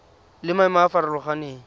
le maemo a a farologaneng